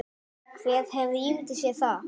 Hver hefði ímyndað sér það?